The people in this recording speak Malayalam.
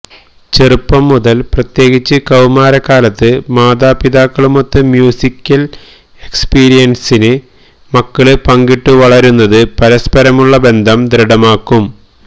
ചെറുപ്പം മുതൽ പ്രത്യേകിച്ച് കൌമാരകാലത്ത് മാതാപിതാക്കളുമൊത്ത് മ്യൂസിക്കല് എക്സ്പീരിയന്സ് മക്കള് പങ്കിട്ടുവളരുന്നത് പരസ്പരമുള്ള ബന്ധം ദൃഢമാക്കും